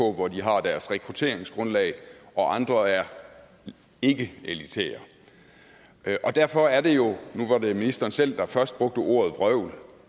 hvor de har deres rekrutteringsgrundlag og andre er ikkeelitære og derfor er det jo nu hvor det er ministeren selv der først brugte ordet vrøvl